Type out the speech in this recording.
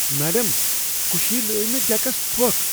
Madam, کُشی لٲیۍ مے٘ ڈیكس تھۄكھ ۔